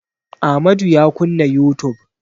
Amadu ya kunna youtube.